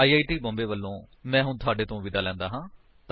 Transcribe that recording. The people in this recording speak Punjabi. ਆਈ ਆਈ ਟੀ ਬੌਮਬੇ ਵਲੋਂ ਮੈਂ ਹੁਣ ਤੁਹਾਡੇ ਤੋਂ ਵਿਦਾ ਲੈਂਦਾ ਹਾਂ